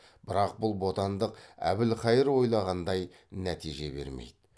бірақ бұл бодандық әбілқайыр ойлағандай нәтиже бермейді